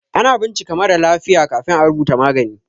Ana bincika marà lafiya kafin à rubuta magani.